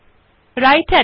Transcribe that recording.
writer এ লেখা বিন্যস্ত করা